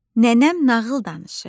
nənəm nağıl danışır.